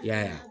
I y'a ye